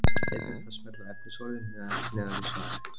Einnig er hægt að smella á efnisorðin neðan við svarið.